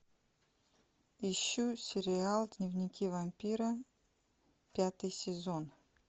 ищу сериал дневники вампира пятый сезон